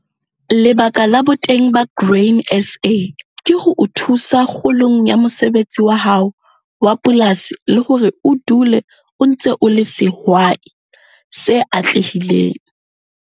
Lebaka la boteng ba Grain SA ke ho o thusa kgolong ya mosebetsi wa hao wa polasi le hore o dule o ntse o le sehwai se atlehileng.